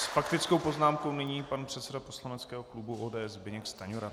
S faktickou poznámkou nyní pan předseda poslaneckého klubu ODS Zbyněk Stanjura.